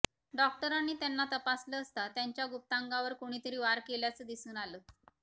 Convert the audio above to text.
डॉक्टरांनी त्यांना तपासलं असता त्यांच्या गुप्तांगावर कोणीतरी वार केल्याचं दिसून आलं